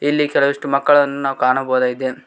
ಇಲ್ಲಿ ಕೆಲವಿಷ್ಟು ಮಕ್ಕಳನ್ನು ನಾವು ಕಾಣಬಹುದಾಗಿದೆ.